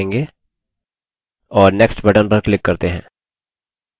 और next button पर click करते हैं